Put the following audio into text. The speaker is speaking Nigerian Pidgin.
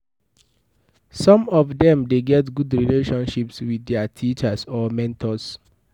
some of dem de get good relationships with their teachers or memtors